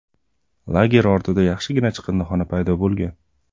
Lager ortida yaxshigina chiqindixona paydo bo‘lgan.